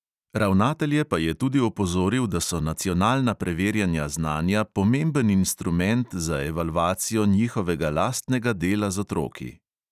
Ravnatelje pa je tudi opozoril, da so nacionalna preverjanja znanja pomemben instrument za evalvacijo njihovega lastnega dela z otroki.